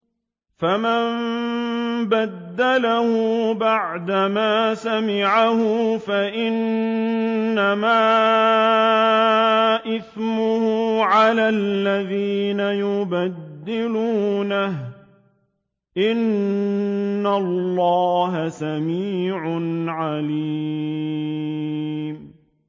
فَمَن بَدَّلَهُ بَعْدَمَا سَمِعَهُ فَإِنَّمَا إِثْمُهُ عَلَى الَّذِينَ يُبَدِّلُونَهُ ۚ إِنَّ اللَّهَ سَمِيعٌ عَلِيمٌ